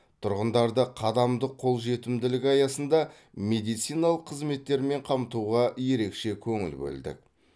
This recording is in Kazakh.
тұрғындарды қадамдық қолжетімділік аясында медициналық қызметтермен қамтуға ерекше көңіл бөлдік